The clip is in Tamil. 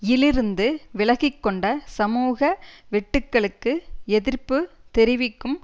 யிலிருந்து விலகிக்கொண்ட சமூக வெட்டுக்களுக்கு எதிர்ப்பு தெரிவிக்கும்